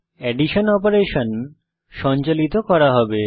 addition operation সঞ্চালিত করা হবে